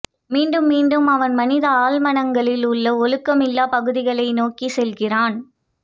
மீண்டும் மீண்டும் அவன் மனித ஆழ்மனங்களில் உள்ள ஒழுக்கமில்லா பகுதிகளை நோக்கிச் செல்கிறான்